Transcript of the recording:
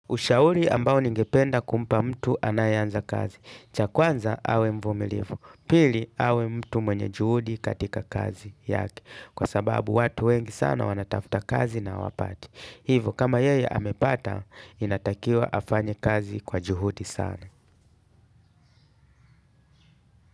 Ushauri ambao ningependa kumpa mtu anayeanza kazi. Cha kwanza awe mvumilifu. Pili awe mtu mwenye juhudi katika kazi yake. Kwa sababu watu wengi sana wanatafuta kazi na hawapati. Hivo kama yeye amepata inatakiwa afanye kazi kwa juhudi sana.